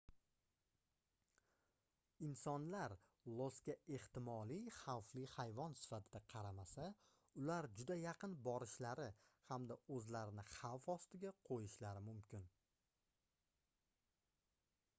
insonlar losga ehtimoliy xavfli hayvon sifatida qaramasa ular juda yaqin borishlari hamda oʻzlarini xavf ostiga qoʻyishlari mumkin